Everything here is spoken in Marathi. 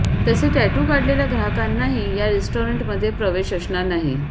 तसे टॅटू काढलेल्या ग्राहकांनाही या रेस्टॉरंटमध्ये प्रवेश असणार नाही